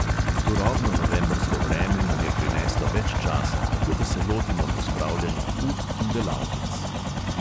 Turobno novembrsko vreme nam je prineslo več časa, tako da se lotimo pospravljanja ut in delavnic.